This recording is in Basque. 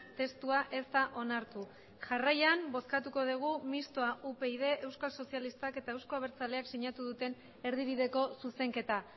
testua ez da onartu jarraian bozkatuko dugu mistoa upyd euskal sozialistak eta euzko abertzaleak sinatu duten erdibideko zuzenketa